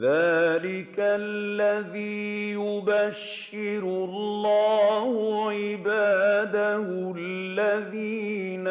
ذَٰلِكَ الَّذِي يُبَشِّرُ اللَّهُ عِبَادَهُ الَّذِينَ